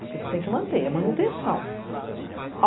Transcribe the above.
Porque você tem que manter, a manutenção.